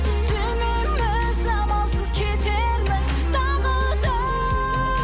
сүймейміз амалсыз кетерміз тағы да